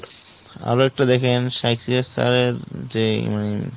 আরো একটু দেখেন success এর যে মানে